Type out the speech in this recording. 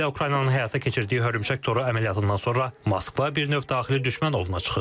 Xüsusilə Ukraynanın həyata keçirdiyi hörümçək toru əməliyyatından sonra Moskva bir növ daxili düşmən ovuna çıxıb.